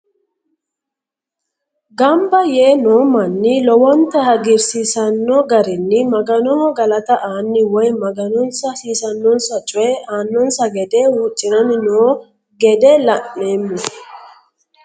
gamba yee noo manni lowonta hagirsiisanno garinni maganoho galata aanni woye maganonsa hasiisinossa coye aanonsa gede hucciranni noo gede la'neemo.